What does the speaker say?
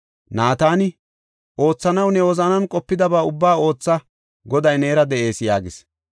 Naatani, “Oothanaw ne wozanan qopidaba ubbaa ootha; Goday neera de7ees” yaagis.